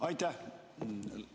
Aitäh!